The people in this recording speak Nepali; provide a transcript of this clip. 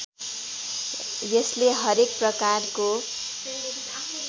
यसले हरेक प्रकारको